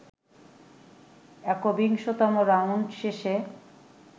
একবিংশতম round শেষে